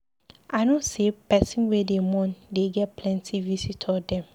I know sey pesin wey dey mourn dey get plenty visitor dem.